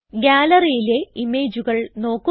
Galleryയിലെ ഇമേജുകൾ നോക്കുക